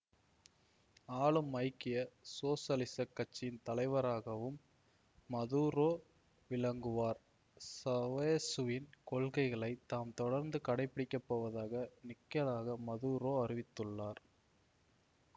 ஆளும் ஐக்கிய சோசலிசக் கட்சியின் தலைவராகவும் மதூரோ விளங்குவார் சாவெசுவின் கொள்கைகளை தாம் தொடர்ந்து கடைப்பிடிக்கப்போவதாக நிக்கலாக மதூரோ அறிவித்துள்ளார்